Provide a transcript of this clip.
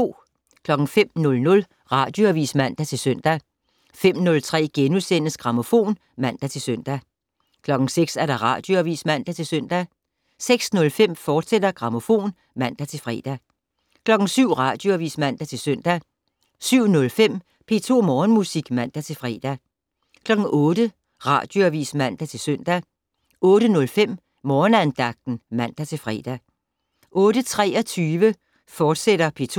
05:00: Radioavis (man-søn) 05:03: Grammofon *(man-søn) 06:00: Radioavis (man-søn) 06:05: Grammofon, fortsat (man-fre) 07:00: Radioavis (man-søn) 07:05: P2 Morgenmusik (man-fre) 08:00: Radioavis (man-søn) 08:05: Morgenandagten (man-fre) 08:23: P2